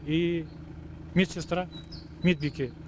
и медсестра медбике